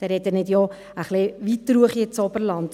Da spreche ich noch ein bisschen weiterhinauf ins Oberland;